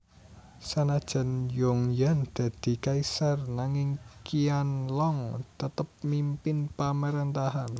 Sanajan Yongyan dadi kaisar nanging Qianlong tetep mimpin pamrentahan